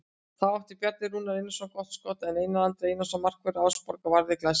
Þá átti Bjarni Rúnar Einarsson gott skot sem Einar Andri Einarsson markvörður Árborgar varði glæsilega.